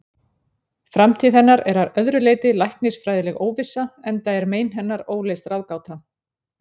Framtíð hennar er að öðru leyti læknisfræðileg óvissa, enda er mein hennar óleyst ráðgáta.